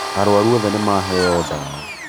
Arwaru othe nīmaheo ndawa